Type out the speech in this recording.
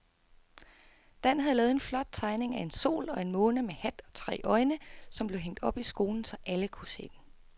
Dan havde lavet en flot tegning af en sol og en måne med hat og tre øjne, som blev hængt op i skolen, så alle kunne se den.